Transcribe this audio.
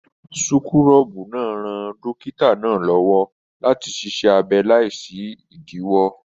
Súkúrọbuù náà ràn dókítà náà l'ọwọ láti ṣiṣẹ abẹ láì sí idiwọ.